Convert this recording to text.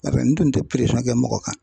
Barisa n tun tɛ kɛ mɔgɔ kan